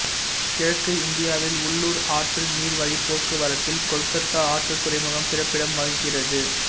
கிழக்கு இந்தியாவில் உள்ளூர் ஆற்று நீர் வழிப் போக்குவரத்தில் கொல்கத்தா ஆற்றுத் துறைமுகம் சிறப்பிடம் வகிக்கிறது